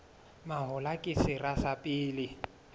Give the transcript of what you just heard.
mahola ke sera sa pele